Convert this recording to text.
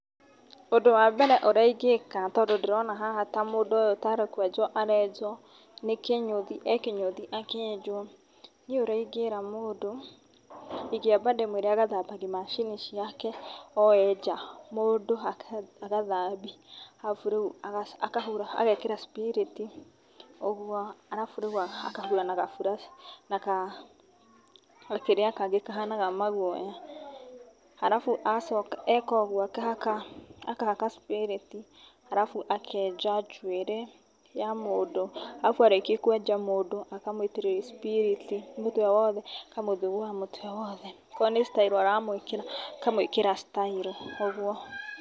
ũndũ wa mbere ũrĩa ingĩka tondũ ndĩrona haha mũndũ ũyũ tarĩ kwenjwo arenjwo nĩ kĩnyũthi, e kĩnyũthi akĩenjwo. Niĩ ũrĩa ndĩngĩra mũndũ, ingĩamba ndĩmũĩre agathambagia macini ciake o e nja. Mũndũ agathambia, arabu rĩu akahura, agekĩra spirit ũguo, arabu rĩu akahura na gaburaci na ka, gakĩrĩa kangĩ kahanaga maguoya. Arabu, acoka eka ũguo, akahaka spirit, arabu akenja njuĩrĩ ya mũndũ, arabu arĩkia kwenja mũndũ akamũitĩrĩrria spirit mũtwe wothe, akamũthugua mũtwe wothe, okorwo nĩ style aramũĩkĩra akamwĩkĩra style, ũguo.